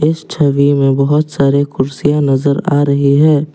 इस छवि में बहुत सारे कुर्सियां नजर आ रही है।